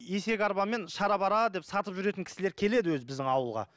есек арбамен шарабара деп сатып жүретін кісілер келеді өзі біздің ауылға